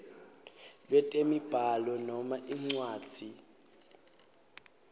lwetemibhalo noma incwadzi